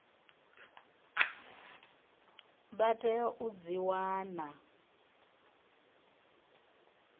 vha tea u dzi wana